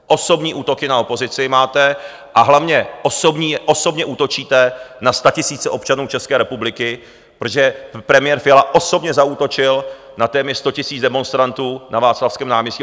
Osobní útoky na opozici máte a hlavně osobně útočíte na statisíce občanů České republiky, protože premiér Fiala osobně zaútočil na téměř sto tisíc demonstrantů na Václavském náměstí.